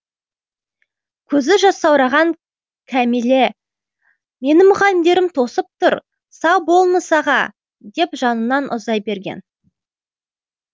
көзі жасаураған кәмилә мені мұғалімдерім тосып тұр сау болыңыз аға деп жанынан ұзай берген